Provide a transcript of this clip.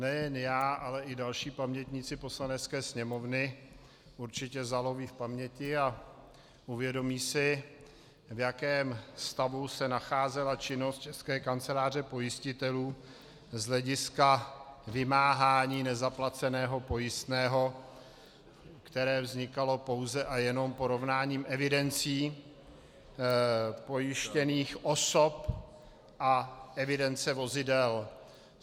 Nejen já, ale i další pamětníci Poslanecké sněmovny určitě zaloví v paměti a uvědomí si, v jakém stavu se nacházela činnost České kanceláře pojistitelů z hlediska vymáhání nezaplaceného pojistného, které vznikalo pouze a jenom porovnáním evidencí pojištěných osob a evidence vozidel.